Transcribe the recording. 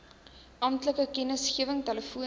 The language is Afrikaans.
amptelike kennisgewing telefonies